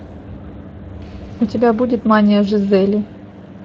у тебя будет мания жизели